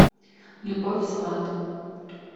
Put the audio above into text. любовь свана